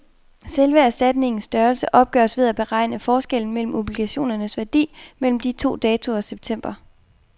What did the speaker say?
Selve erstatningens størrelse opgøres ved at beregne forskellen mellem obligationernes værdi mellem de to datoer september.